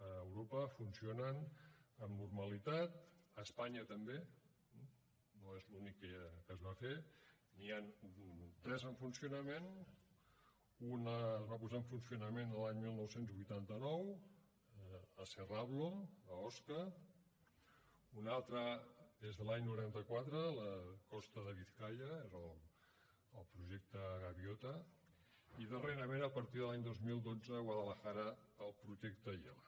a europa funcionen amb normalitat a espanya també no és l’únic que es va fer n’hi han tres en funcionament un es va posar en funcionament l’any dinou vuitanta nou a serrablo a osca un altre és de l’any noranta quatre a la costa de biscaia era el projecte gaviota i darrerament a partir de l’any dos mil dotze a guadalajara el projecte yela